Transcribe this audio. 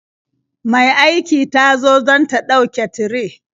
Mai aiki ta zo don ta ɗauke tire.